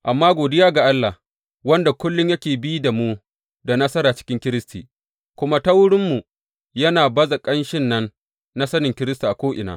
Amma godiya ga Allah, wanda kullum yake bi da mu da nasara cikin Kiristi, kuma ta wurinmu, yana baza ƙanshin nan na sanin Kiristi a ko’ina.